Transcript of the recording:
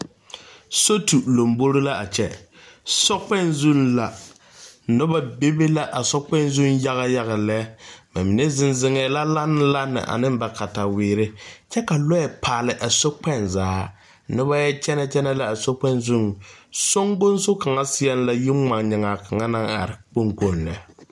Sotu lambori la a kyɛ, sɔkpoŋ zuŋ la, noba be la a sɔkpoŋ zu yaga yaga lɛ ba mine. zeŋ zeŋɛ la lanne lanne ane ba katawiiri kyɛ ka lɔɛ paale a sokpoŋ zaa noba yɔ kyɛne. kyɛne la a sɔkpoŋ zeŋ, sonkoŋ so kaŋa. yiri ŋmanyɛŋaa kaŋa naŋ are kpoŋ kpoŋ lɛ.